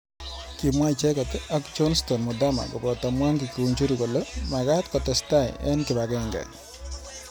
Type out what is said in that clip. Kimwa icheket ak Jonsthon muthama koboto Mwangi kiunjuri kole makat kotestai eng kibagenge.